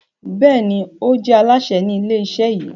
Béèni o je Alásè Ni ilé iṣẹ yí.